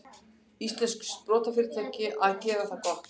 Íslenskt sprotafyrirtæki að gera það gott